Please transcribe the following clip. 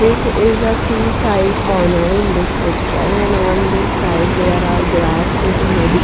This is a seaside corner in this picture and on this side there are grass with muddy--